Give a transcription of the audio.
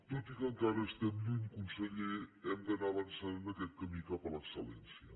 tot i que encara n’estem lluny conseller hem d’anar avançant en aquest camí cap a l’excel·lència